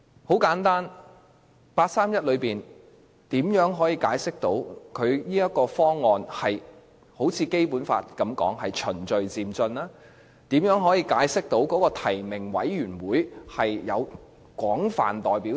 很簡單，八三一方案如何解釋這方案是如《基本法》所訂般屬於循序漸進，以及如何解釋提名委員會具有廣泛代表性？